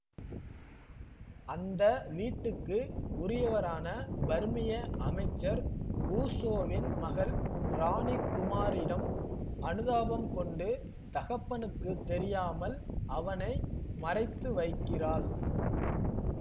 அந்த வீட்டுக்கு உரியவரான பர்மிய அமைச்சர் ஊசோவின் மகள் ராணி குமாரிடம் அனுதாபம் கொண்டு தகப்பனுக்குத் தெரியாமல் அவனை மறைத்து வைக்கிறாள்